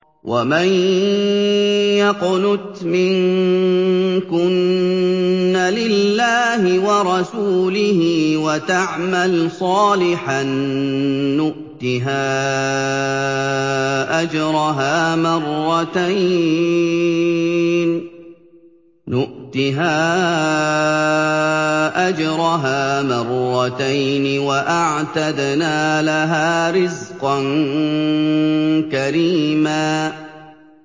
۞ وَمَن يَقْنُتْ مِنكُنَّ لِلَّهِ وَرَسُولِهِ وَتَعْمَلْ صَالِحًا نُّؤْتِهَا أَجْرَهَا مَرَّتَيْنِ وَأَعْتَدْنَا لَهَا رِزْقًا كَرِيمًا